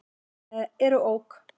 eru OK!